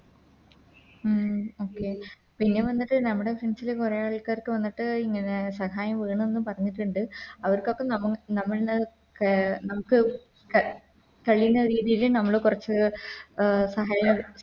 ഉം പിന്നെ വന്നിട്ട് നമ്മുടെ Sense ല് കൊറേ ആൾക്കാർക്ക് വന്നിട്ട് ഇങ്ങനെ സഹായം വേണം ന്ന് പറഞ്ഞിട്ടുണ്ട് അവർക്കൊക്കെ നമ നമ്മള് നമുക്ക് കഴിയുന്ന രീതില് നമ്മള് കൊറച്ച് സഹായം